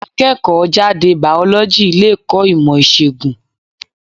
Akẹ́kọ̀ọ́ jáde Bàọ́lọ́jì le kọ́ ìmò ìṣègùn.